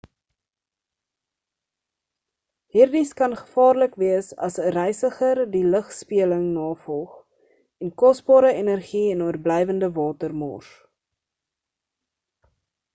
hierdies kan gevaarlik wees as 'n reisiger die lugspieëling navolg en kosbare energie en oorblywende water mors